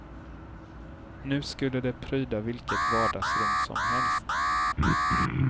Nu skulle det pryda vilket vardagsrum som helst.